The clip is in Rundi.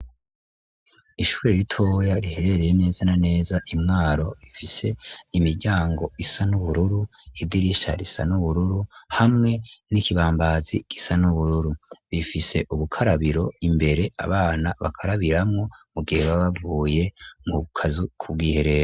Ishuri ritoya riherereye neza na neza imwaro rifise imiryango isa n'ubururu idirisha risa n'ubururu hamwe n'ikibambazi gisa n'ubururu, bifise ubukarabiro imbere abana bakarabiramwo mu gihe babavuye mu bukazu kubwiherero.